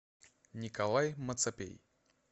николай мацапей